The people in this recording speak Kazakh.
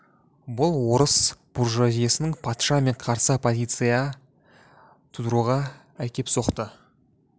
бұл орыс буржуазиясының патша мен қарсы оппозиция тудыруға әкеп соқты